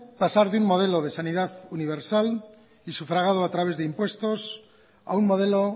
pasar de un modelo de sanidad universal y sufragado a través de impuestos a un modelo